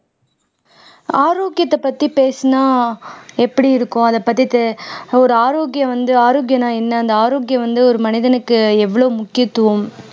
ஆரோக்கியத்தைப் பத்தி பேசுனா எப்படி இருக்கும் அதைப் பத்தி தே ஒரு ஆரோக்கியம் வந்து ஆரோக்கியம்னா என்ன அந்த ஆரோக்கியம் வந்து ஒரு மனிதனுக்கு எவ்வளவு முக்கியத்துவம்